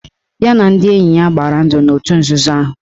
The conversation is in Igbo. Ya na ndị enye ya gbara ndụ n'otu nzuzo ahụ.